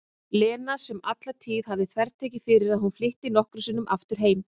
Lena sem alla tíð hafði þvertekið fyrir að hún flytti nokkru sinni aftur heim.